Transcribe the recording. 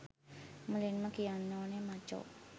මුලින්ම කියන්න ඕනේ මචෝ